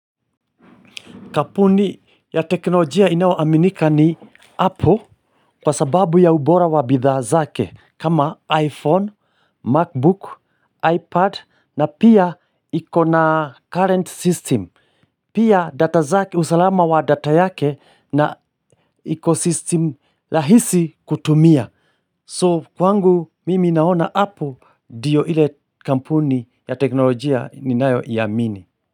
Kapuni ya teknolojia inayo aminika ni Apple kwa sababu ya ubora wa bidhaa zake kama iPhone, MacBook, iPad na pia ikona current system. Pia data zake, usalama wa data yake na ecosystem rahisi kutumia. So kwangu mimi naona Apple diyo ile kampuni ya teknolojia ninayo iamini.